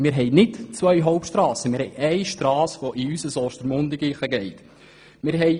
Wir verfügen nicht über zwei Hauptstrassen, sondern über eine Strasse nach Ostermundigen.